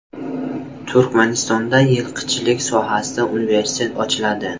Turkmanistonda yilqichilik sohasida universitet ochiladi.